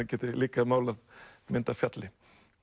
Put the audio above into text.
geti líka málað mynd af fjalli